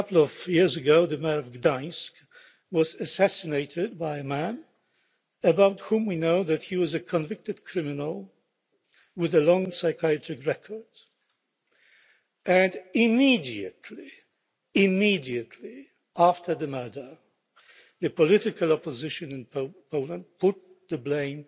A couple of weeks ago, the mayor of Gdansk was assassinated by a man who we know was a convicted criminal, with a long psychiatric record and immediately immediately after the murder, the political opposition in Poland put the blame